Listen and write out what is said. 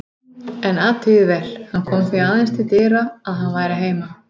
En athugið vel: Hann kom því aðeins til dyra að hann væri heima.